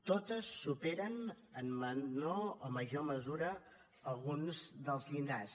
totes superen en menor o major mesura alguns dels llindars